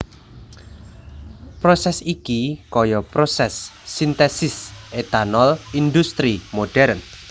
Prosès iki kaya prosès sintesis etanol indhustri modern